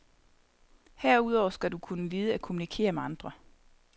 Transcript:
Herudover skal du kunne lide at kommunikere med andre.